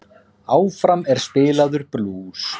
Áfram er spilaður blús.